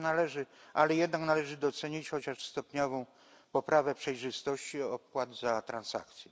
Należy jednak docenić chociaż stopniową poprawę przejrzystości opłat za transakcje.